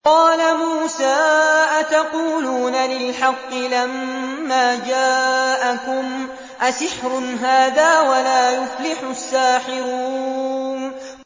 قَالَ مُوسَىٰ أَتَقُولُونَ لِلْحَقِّ لَمَّا جَاءَكُمْ ۖ أَسِحْرٌ هَٰذَا وَلَا يُفْلِحُ السَّاحِرُونَ